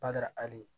Bada hali